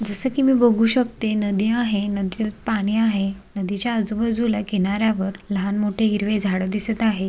जस की मी बघू शकते नदी आहे नदी पाणी आहे नदीच्या आजूबाजूला किनाऱ्यवर लहान मोठे हिरवे झाड दिसत आहेत.